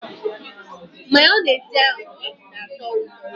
Mayonezi ọ na atọ ụtọ?